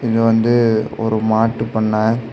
இது வந்து ஒரு மாட்டு பண்ண.